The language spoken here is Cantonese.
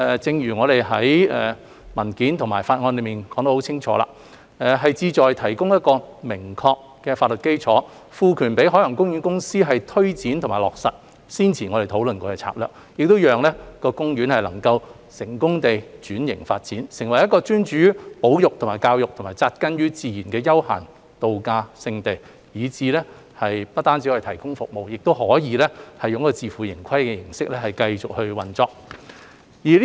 正如我們在文件和法案內已清楚闡明，修例的目的是提供明確法律基礎，賦權海洋公園公司推展和落實先前我們討論過的策略，讓公園能夠成功轉型發展，成為一個專注於保育和教育、扎根於自然的休閒度假勝地，以致不單可以提供服務，亦可以自負盈虧的形式繼續運作。